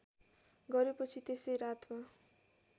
गरेपछि त्यसै रातमा